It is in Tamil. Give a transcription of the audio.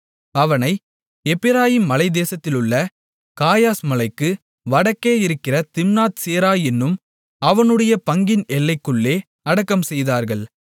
அவனை எப்பிராயீமின் மலைத்தேசத்திலுள்ள காயாஸ் மலைக்கு வடக்கே இருக்கிற திம்னாத் சேரா என்னும் அவனுடைய பங்கின் எல்லைக்குள்ளே அடக்கம் செய்தார்கள்